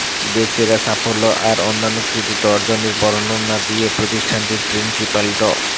দেশসেরা সাফল্য আর অনন্য কৃতিত্ব অর্জনের বর্ণনা দিয়ে প্রতিষ্ঠানটির প্রিন্সিপাল ড